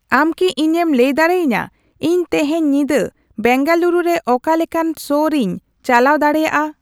ᱟᱢ ᱠᱤ ᱤᱧᱮᱢ ᱞᱟᱹᱭ ᱫᱟᱲᱮᱭᱟᱧᱟ ᱤᱧ ᱛᱮᱦᱮᱧ ᱧᱤᱫᱟ ᱵᱮᱸᱜᱟᱞᱩᱨᱩ ᱨᱮ ᱚᱠᱟ ᱞᱮᱠᱟᱱ ᱥᱳ ᱨᱤᱧ ᱪᱟᱞᱟᱣ ᱰᱟᱲᱮᱭᱟᱜᱼᱟ